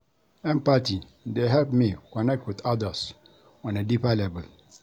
Empathy dey help me connect with others on a deeper level.